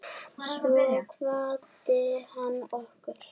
Svo kvaddi hann okkur.